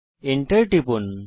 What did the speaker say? Enter টিপুন